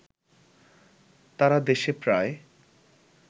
তারা দেশে প্রায়